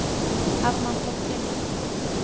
Herman Thorkildsen